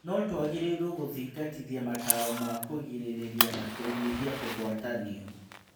"No-tũagĩrĩirwo gũthingatithia mataro ma-kũgirĩrĩria na kũnyihia kũgwatanio."